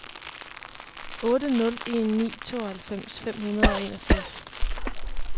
otte nul en ni tooghalvfems fem hundrede og enogfirs